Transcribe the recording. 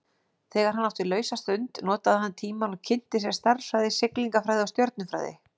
Þegar hann átti lausa stund notaði hann tímann og kynnti sér stærðfræði, siglingafræði og stjörnufræði.